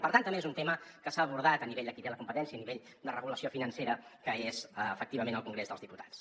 per tant també és un tema que s’ha abordat a nivell de qui té la competència a nivell de regulació financera que és efectivament el congrés dels diputats